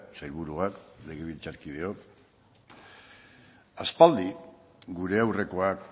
sailburuak legebiltzarkideok aspaldi gure aurrekoak